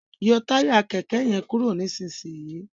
yọ Táyà kéké yen kúrò nísìsiyìí!